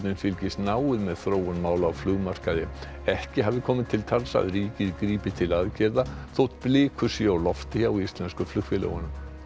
fylgist náið með þróun mála á flugmarkaði ekki hafi komið til tals að ríkið grípi til aðgerða þótt blikur séu á lofti hjá íslensku flugfélögunum